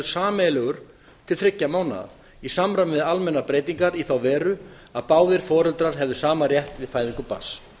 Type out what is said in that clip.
sameiginlegur til þriggja mánaða í samræmi við almennar breytingar í þá veru að báðir foreldrar hefðu sama rétt við fæðingu barns